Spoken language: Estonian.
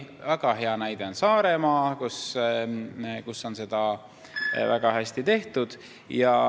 Väga hea näide on Saaremaa, kus on seda väga hästi tehtud.